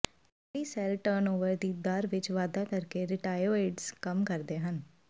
ਚਮੜੀ cell turnover ਦੀ ਦਰ ਵਿੱਚ ਵਾਧਾ ਕਰਕੇ ਰਿਟਾਇਓਇਡਜ਼ ਕੰਮ ਕਰਦੇ ਹਨ